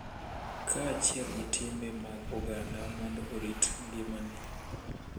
Kaachiel gi timbe mag oganda mondo orit ngimane.